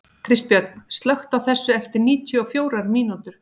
Kristbjörn, slökktu á þessu eftir níutíu og fjórar mínútur.